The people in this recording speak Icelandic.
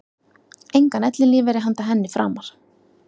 Engan ellilífeyri handa henni framar.